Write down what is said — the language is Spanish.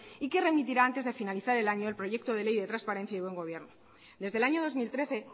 y que remitirá antes de finalizar el año el proyecto de ley de transparencia y buen gobierno desde el año dos mil trece